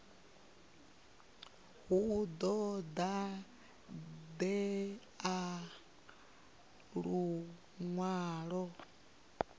hu ḓo ṱo ḓea luṅwalo